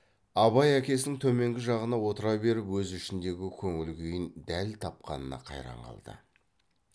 абай әкесінің төменгі жағына отыра беріп өз ішіндегі көңіл күйін дәл тапқанына қайран қалды